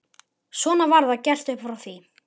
Svona var það gert upp frá því.